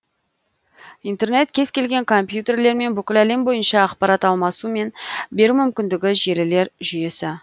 интернет кез келген компьютерлермен бүкіл әлем бойынша ақпарат алмасу мен беру мүмкіндігі желілер жүйесі